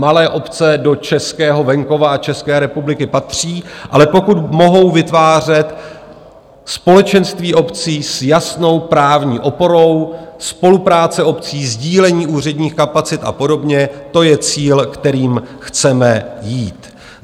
Malé obce do českého venkova a České republiky patří, ale pokud mohou vytvářet společenství obcí s jasnou právní oporou, spolupráce obcí, sdílení úředních kapacit a podobně, to je cíl, kterým chceme jít.